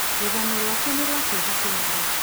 Rũgano rwake nĩ rwa kieha kinene.